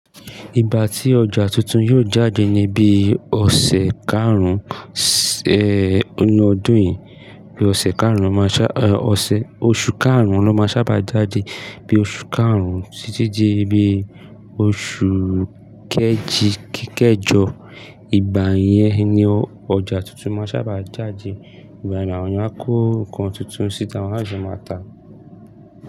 Ìgbà tí ọjà tuntun yóò jáde ní bí ọ̀sẹ̀ karùn-ún, ọdún yìí. Bí ọ̀sẹ̀ karùn-ún lọ máa ṣá, ẹ, ọ̀sẹ̀, oṣù karùn-ún lọ máa sábà jáde. Bí oṣù karùn-ún tití dí bí oṣù kejìkẹjọ, ìgbà yẹn ni ọjà tuntun máa sábà jáde. Ìgbà náà, àwọn yẹn á kó ǹkan tuntun síta, àwọn aṣọ máa tàá.